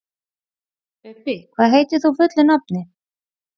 Bubbi, hvað heitir þú fullu nafni?